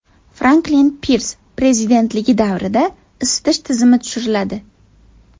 Franklin Pirs prezidentligi davrida isitish tizimi tushiriladi.